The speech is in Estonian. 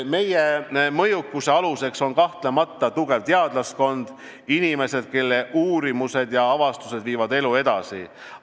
Meie mõjukuse aluseks on kahtlemata tugev teadlaskond: inimesed, kelle uurimused ja avastused viivad elu edasi.